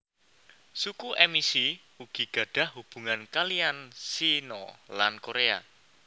Suku Emishi ugi gadhah hubungan kalihan Shina lan Korea